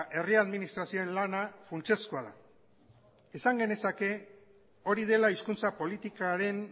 herri administrazioen lana funtsezkoa da esan genezake hori dela hizkuntza politikaren